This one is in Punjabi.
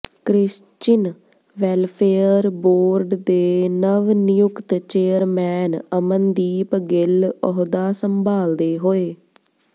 ਕ੍ਰਿਸਚਿਨ ਵੈਲਫੇਅਰ ਬੋਰਡ ਦੇ ਨਵ ਨਿਯੁਕਤ ਚੇਅਰਮੈਨ ਅਮਨਦੀਪ ਗਿੱਲ ਅਹੁਦਾ ਸੰਭਾਲਦੇ ਹੋਏ